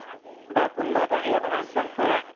বা কোনোবা এটা হেইঅত আঠ জন পৰে